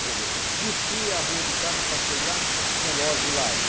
Quer dizer, desci a rua de casa, passei lá, o relógio lá